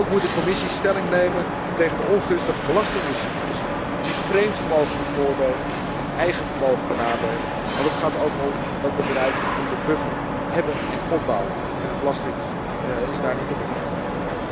Ook moet de Commissie stelling nemen tegen de ongunstige belastingregimes die vreemd vermogen bevoordelen en eigen vermogen benadelen, want het gaat er ook om dat bedrijven voldoende buffer hebben en opbouwen en de belasting is daar niet op ingericht.